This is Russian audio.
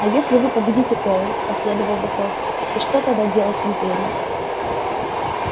а если вы победите корел последовал вопрос и что тогда делать с империей